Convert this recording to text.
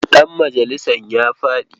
Ɗanmajalisan ya faɗi zaɓe.